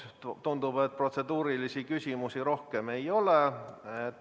Tundub, et protseduurilisi küsimusi rohkem ei ole.